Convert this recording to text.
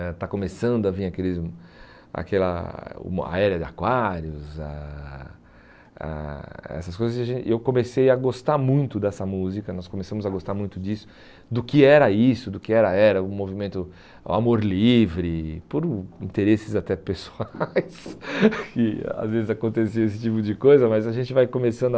Eh está começando a vir aqueles aquela o Era de Aquários ah ah, essas coisas, e a gen e eu comecei a gostar muito dessa música, nós começamos a gostar muito disso, do que era isso, do que era era, o movimento o Amor Livre, por o interesses até pessoais, que às vezes acontecia esse tipo de coisa, mas a gente vai começando a...